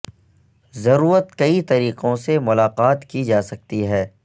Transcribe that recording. ضرورت کئی طریقوں سے ملاقات کی جا سکتی ہے